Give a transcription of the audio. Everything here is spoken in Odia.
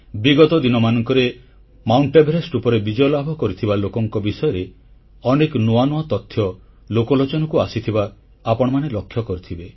ବିଗତ ଦିନମାନଙ୍କରେ ଏଭେରେଷ୍ଟ ପର୍ବତ ଉପରେ ବିଜୟଲାଭ କରିଥିବା ଲୋକଙ୍କ ବିଷୟରେ ଅନେକ ନୂଆ ନୂଆ ତଥ୍ୟ ଲୋକଲୋଚନକୁ ଆସିଥିବା ଆପଣମାନେ ଲକ୍ଷ୍ୟ କରିଥିବେ